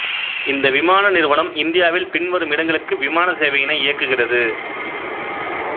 இந்த விமான நிறுவனம் இந்தியாவில் பின்வரும் இடங்களுக்கு விமானச் சேவையினை இயக்குகிறது